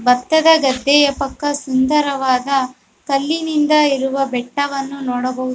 ಭತ್ತದ ಗದ್ದೆಯ ಪಕ್ಕ ಸುಂದರವಾದ ಕಲ್ಲಿನಿಂದ ಇರುವ ಬೆಟ್ಟವನ್ನು ನೋಡಬೊಹುದು.